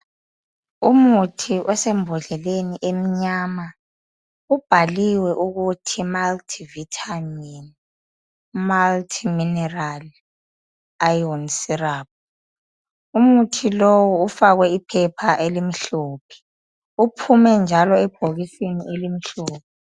Umuthi odembodleleni emnyama ubhaliwe ukuthi multivitamin, multimineral, iron syrup umuthi lowu ufakwe iphepha elimhlophe uphume njalo ebhokisini elimhlophe